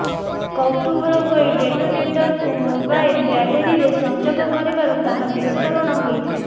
କୌତୁହଳ ହୋଇ ଡେଟୋନେଟରକୁ ମୋବାଇଲ ବ୍ୟାଟେରୀରେ ସଂଯୋଗ କରିବାରୁ ତାହା ବିସ୍ଫୋରଣ ହୋଇଥିଲା